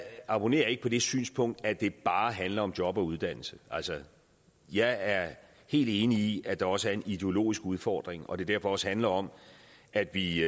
abonnerer ikke på det synspunkt at det bare handler om job og uddannelse jeg er helt enig i at der også er en ideologisk udfordring og at det derfor også handler om at vi